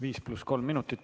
Viis pluss kolm minutit.